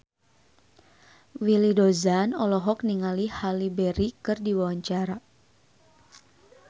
Willy Dozan olohok ningali Halle Berry keur diwawancara